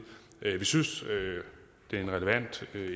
vi synes det er en relevant